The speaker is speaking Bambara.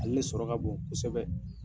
Ale le sɔrɔ ka bon kosɛbɛ.